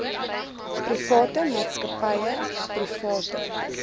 private maatskappye private